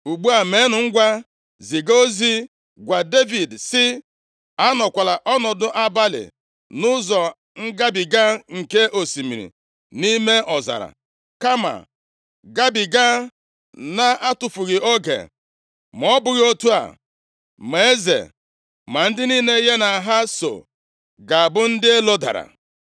Ugbu a, meenụ ngwa, ziga ozi gwa Devid sị, ‘Anọkwala ọnọdụ abalị nʼụzọ ngabiga nke osimiri nʼime ọzara, kama gabiga na-atụfughị oge, ma ọ bụghị otu a, ma eze ma ndị niile ya na ha soo ga-abụ ndị elodara.’ ”